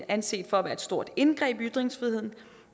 anset for at være et stort indgreb i ytringsfriheden